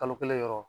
Kalo kelen yɔrɔ